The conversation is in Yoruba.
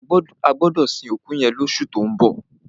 A gbọdọ sin òkú yẹn lọṣu tó ń bọ̀.